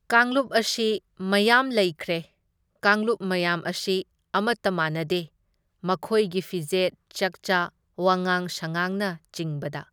ꯀꯥꯡꯂꯨꯞ ꯑꯁꯤ ꯃꯌꯥꯝ ꯂꯩꯒꯈ꯭ꯔꯦ, ꯀꯥꯡꯂꯨꯞ ꯃꯌꯥꯝ ꯑꯁꯤ ꯑꯃꯇ ꯃꯥꯟꯅꯗꯦ, ꯃꯈꯣꯏꯒꯤ ꯐꯤꯖꯦꯠ ꯆꯥꯛꯆꯥ ,ꯋꯥꯉꯥꯡ ꯁꯉꯥꯡꯅꯆꯤꯡꯕꯗ꯫